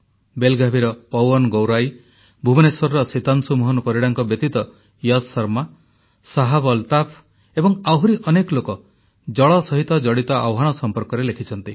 ବେଲ୍ଗାଭିର ପୱନ ଗୌରାଈ ଭୁବନେଶ୍ୱରର ସୀତାଂଶୁ ମୋହନ ପରିଡ଼ାଙ୍କ ବ୍ୟତୀତ ୟଶ୍ ଶର୍ମା ଶାହାବ୍ ଅଲତାଫ ଏବଂ ଆହୁରି ଅନେକ ଲୋକ ଜଳ ସହିତ ଜଡ଼ିତ ଆହ୍ୱାନ ସମ୍ପର୍କରେ ଲେଖିଛନ୍ତି